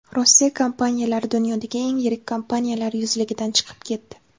Rossiya kompaniyalari dunyodagi eng yirik kompaniyalar yuzligidan chiqib ketdi.